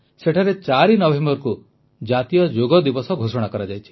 ସେଠାରେ 4 ନଭେମ୍ବରକୁ ଜାତୀୟ ଯୋଗ ଦିବସ ଘୋଷଣା କରାଯାଇଛି